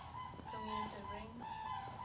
commutative ring